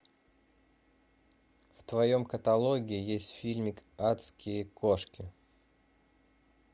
в твоем каталоге есть фильмик адские кошки